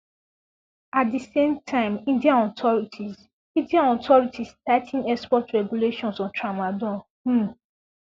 at di same time indian authorities indian authorities tigh ten export regulations on tramadol um